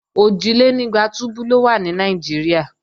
Òjìlénígba túbú ló wà ní Nàìjíríà